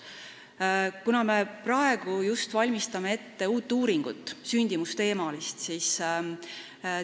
Me just praegu valmistame ette uut sündimusteemalist uuringut.